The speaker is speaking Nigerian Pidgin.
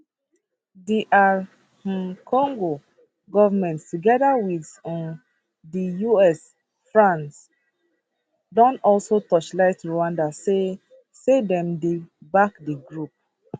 dr um congo goment togeda wit um di us and france don also torchlight rwanda say say dem dey back di group